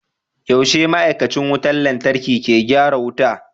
Yaushe ma'aikacin wutar lantarki ke gyara wuta?